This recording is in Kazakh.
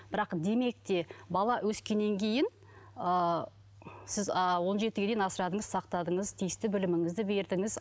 бірақ демек те бала өскеннен кейін ы сіз ы он жетіге дейін асырадыңыз сақтадыңыз тиісті біліміңізді бердіңіз